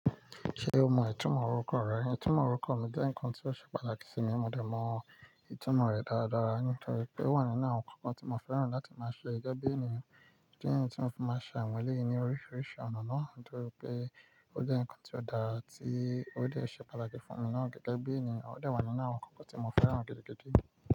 Ṣé o mọ ìtumọ̀ orúkọ rẹ? Ìtumọ̀ orúkọ mi jẹ́ nǹkan tó ṣe pàtàkì sí mi, mo de mọ ìtumọ̀ rẹ̀ dáa daa nítorí pé ó wà nínú àwọn nǹkan tí mo fẹ́ràn láti máa ṣe gẹ́gẹ́ bí ènìyàn. Ó jẹ́ ǹkan tí mo fi máa ń ṣàwọn èlé mi ní oríṣiríṣi ọ̀nà náà nítorí pé ó jẹ́ nǹkan tí ó dára tí ó lè ṣe pàtàkì fún mi náà gẹ́gẹ́ bí ènìyàn, ó dà wà nínú àwọn nǹkan tí mo fẹ́ràn gidi gidi.